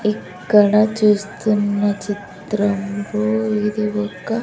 ఇక్కడ చూస్తున్న చిత్రంలో ఇది ఒక --